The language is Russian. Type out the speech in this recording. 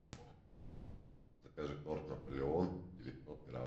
закажи торт наполеон девятьсот грамм